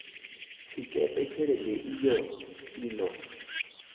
tshikepe tshelede iyo i ḓo